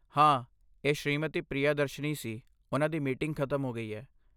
ਹਾਂ, ਇਹ ਸ੍ਰੀਮਤੀ ਪ੍ਰਿਯਦਰਸ਼ਨੀ ਸੀ, ਉਨ੍ਹਾਂ ਦੀ ਮੀਟਿੰਗ ਖਤਮ ਹੋ ਗਈ ਹੈ।